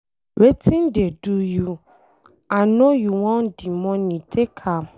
Wetin dey do you, I no you want the money, take am.